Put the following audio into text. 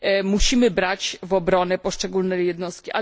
Musimy brać w obronę poszczególne jednostki.